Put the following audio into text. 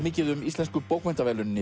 mikið um Íslensku bókmenntaverðlaunin